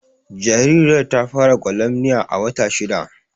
Jaririyar ta fara gwalamniya a wata shidda